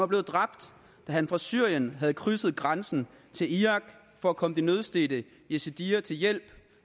blevet dræbt da han fra syrien havde krydset grænsen til irak for at komme de nødstedte yazidier til hjælp